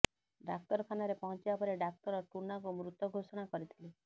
ଡାକ୍ତରଖାନାରେ ପହଞ୍ଚିବା ପରେ ଡାକ୍ତର ଟୁନାଙ୍କୁ ମୃତ ଘୋଷଣା କରିଥିଲେ